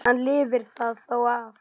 Hann lifir það þó af.